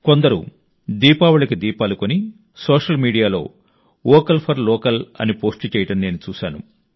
కొందరు దీపావళికి దీపాలు కొని సోషల్ మీడియాలో వోకల్ ఫర్ లోకల్ అని పోస్ట్ చేయడం నేను చూశాను